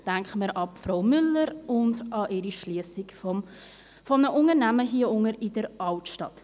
Denken wir an Frau Müller und an ihre Schliessung eines Unternehmens hier unten in der Altstadt.